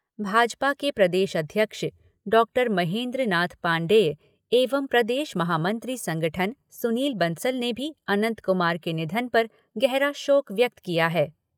भाजपा के प्रदेश अध्यक्ष डॉक्टर महेंद्र नाथ पांडेय एवं प्रदेश महामंत्री संगठन सुनील बंसल ने भी अनंत कुमार के निधन पर गहरा शोक व्यक्त किया है।